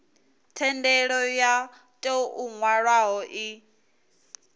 thendelo yo tou nwalwaho i